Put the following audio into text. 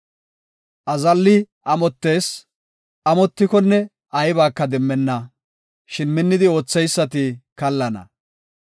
Azallay amottees; amotikonne aybaka demmenna; shin minnidi ootheysati kallana.